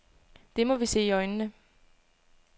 Det må vi se i øjnene.